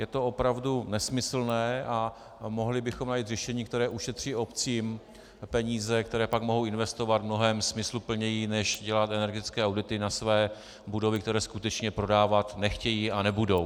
Je to opravdu nesmyslné a mohli bychom najít řešení, které ušetří obcím peníze, které pak mohou investovat mnohem smysluplněji než dělat energetické audity na své budovy, které skutečně prodávat nechtějí a nebudou.